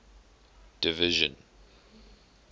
division